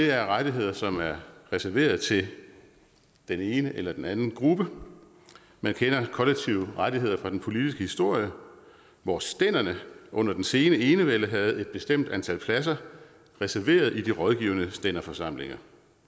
er rettigheder som er reserveret til den ene eller den anden gruppe man kender kollektive rettigheder fra den politiske historie hvor stænderne under den sene enevælde havde et bestemt antal pladser reserveret i de rådgivende stænderforsamlinger